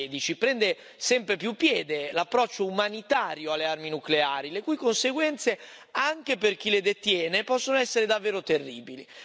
2016. Prende sempre più piede l'approccio umanitario alle armi nucleari, le cui conseguenze anche per chi le detiene possono essere davvero terribili.